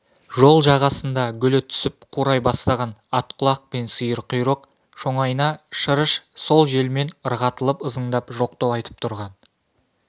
жол жағасында гүлі түсіп қурай бастаған атқұлақ пен сиырқұйрық шоңайна шырыш сол желмен ырғатылып ызыңдап жоқтау айтып тұрған